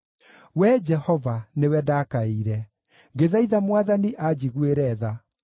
Wee Jehova nĩwe ndakaĩire; ngĩthaitha Mwathani anjiguĩre tha: